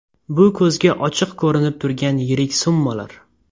Bu ko‘zga ochiq ko‘rinib turgan yirik summalar.